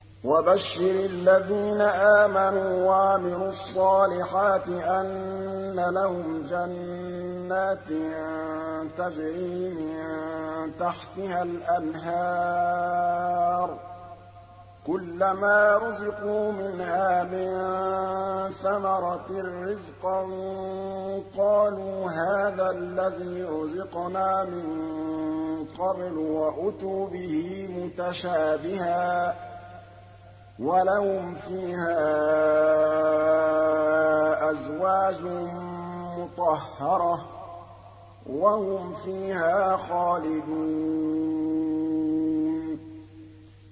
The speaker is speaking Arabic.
وَبَشِّرِ الَّذِينَ آمَنُوا وَعَمِلُوا الصَّالِحَاتِ أَنَّ لَهُمْ جَنَّاتٍ تَجْرِي مِن تَحْتِهَا الْأَنْهَارُ ۖ كُلَّمَا رُزِقُوا مِنْهَا مِن ثَمَرَةٍ رِّزْقًا ۙ قَالُوا هَٰذَا الَّذِي رُزِقْنَا مِن قَبْلُ ۖ وَأُتُوا بِهِ مُتَشَابِهًا ۖ وَلَهُمْ فِيهَا أَزْوَاجٌ مُّطَهَّرَةٌ ۖ وَهُمْ فِيهَا خَالِدُونَ